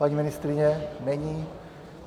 Paní ministryně - není.